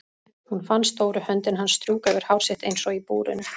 Hún fann stóru höndina hans strjúka yfir hár sitt eins og í búrinu.